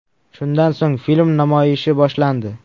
Shundan so‘ng, film namoyishi boshlandi.